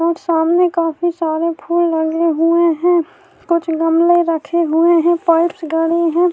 اور سامنے کافی سارے پھول لگے ہوئے ہیں گملے رکھے ہوئے ہیں پائپ ڈلے ہوئے ہیں-